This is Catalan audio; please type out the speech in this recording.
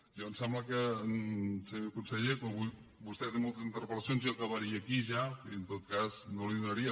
a mi em sembla que senyor conseller vostè té moltes interpel·lacions i jo acabaria aquí ja i en tot cas no li donaria